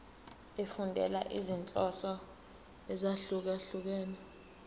efundela izinhloso ezahlukehlukene